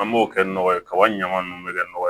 An b'o kɛ nɔgɔ ye kaba in ɲaman nunnu mɛ kɛ nɔgɔ ye